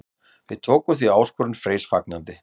Við tókum því áskorun Freys fagnandi.